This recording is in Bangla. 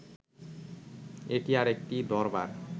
এটি আর একটি দরবার